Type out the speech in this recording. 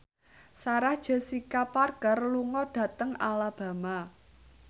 Sarah Jessica Parker lunga dhateng Alabama